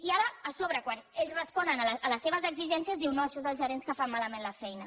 i ara a sobre quan ells responen a les seves exigències diu no això són els gerents que fan malament la feina